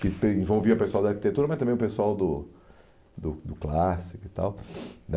Que envolvia o pessoal da arquitetura, mas também o pessoal do do do clássico e tal, né?